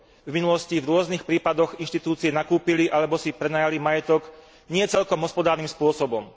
V minulosti v rôznych prípadoch inštitúcie nakúpili alebo si prenajali majetok nie celkom hospodárnym spôsobom.